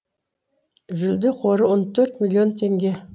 жүлде қоры он төрт миллион теңге